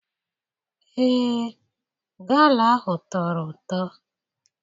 Ee, gala ahụ tọrọ ụtọ.